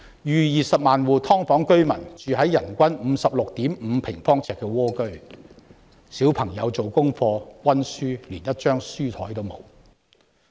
逾20萬戶"劏房"居民住在人均 56.5 平方呎的蝸居，小朋友連一張做功課及溫習的書檯也沒有。